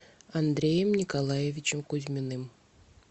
андреем николаевичем кузьминым